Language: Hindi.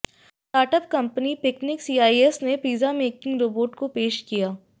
स्टार्टअप कंपनी पिकनिक सीईएस में पिज्जा मेकिंग रोबोट को पेश किया